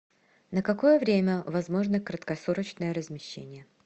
на какое время возможно краткосрочное размещение